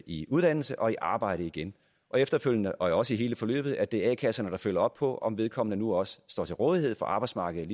i uddannelse og arbejde igen efterfølgende og også under hele forløbet er det a kasserne der følger op på om vedkommende nu også står til rådighed for arbejdsmarkedet